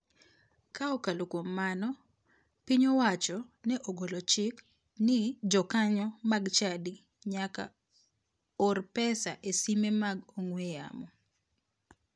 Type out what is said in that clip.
Ka okalo kuom mano, piny owacho ne ogolochik ni jokanyo mag chadi nyaka or pesa e simbe mag ong'we yamo.